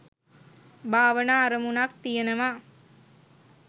භාවනා අරමුණක් තියෙනවා